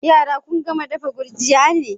Yara kun gama dafa gurjiya ne?